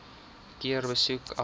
keer besoek aflê